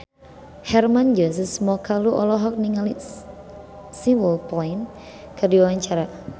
Hermann Josis Mokalu olohok ningali Simple Plan keur diwawancara